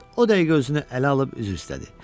O dəqiqə özünü ələ alıb, üzr istədi.